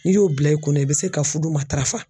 N'i y'o bila i kunna i bɛ se ka fudu matarafa.